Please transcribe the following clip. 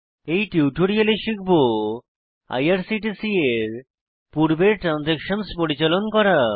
এই টিউটোরিয়ালে শিখব আইআরসিটিসি এর পূর্বের ট্রান্জ্যাকশন্স পরিচালন করা